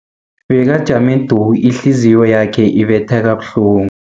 Bekajame du, ihliziyo yakhe ibetha kabuhlungu.